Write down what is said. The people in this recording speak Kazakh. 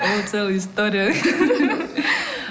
ол целая история ғой